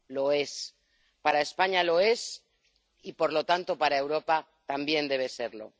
Lo es. Para España lo es y, por lo tanto, para Europa también debe serlo.